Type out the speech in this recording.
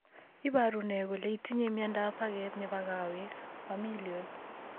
Iporu ne kole itinye miondap Paget nepo kowek, familial?